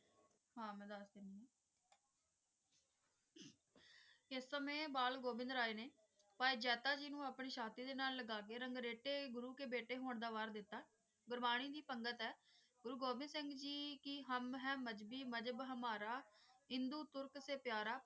ਇਸ ਸਮੇਂ ਬਾਲ ਗੋਵਿੰਦਰ ਸਿੰਘ ਆਏ ਨੇ ਭਾਈ ਜਾਤਾ ਜੀ ਨੂੰ ਆਪਣੇ ਛਾਤੀ ਦੇ ਨਾਲ ਲਗਾ ਕ ਰੰਗ ਰਾਇਤੇ ਗੁਰੂ ਕ ਹੋਣ ਦਾ ਵਾੜ ਦਿੱਤਾ ਗੁਰਵਾਨੀ ਦੀ ਸਨਾਗਤ ਹੈ ਗੁਰੂ ਹੋ ਦੀ ਸਿੰਘ ਕ ਹਮ ਹੈ ਮਜ਼੍ਹਬੀ ਹਮਾਰਾ ਮਜ਼ਹਬ ਹਿੰਦੂ ਤੁਰਕ ਸੇ ਪਯਾਰਾ। ਇਸ ਸਮੇਂ